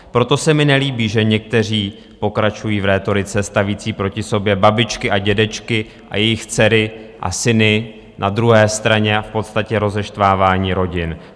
Proto se mi nelíbí, že někteří pokračují v rétorice stavící proti sobě babičky a dědečky a jejich dcery a syny na druhé straně, a v podstatě rozeštvávání rodin.